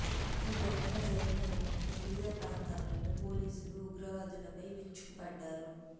ఈ ఘటన జరిగిన వెంటనే వివిధ ప్రాంతాల్లో పోలీసులు ఉగ్రవాదులపై విరుచుకుపడ్డారు